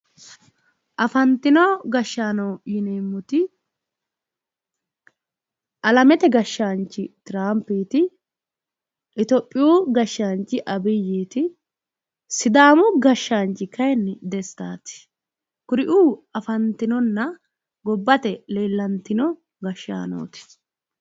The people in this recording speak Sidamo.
Afantino gashaano yinneemmoti alamete gashaanchi Tiramphiti Itophiyu gashshaanchi Abiyiti Sidaamu Gashaanchi kayinni Destati ,kuriu afantinonna gobbate leellatino gashaanoti.